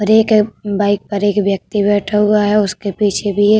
और एक बाइक पर एक व्यक्ति बैठा हुआ है उसके पीछे भी एक --